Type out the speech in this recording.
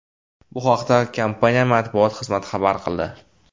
Bu haqda kompaniya matbuot xizmati xabar qildi .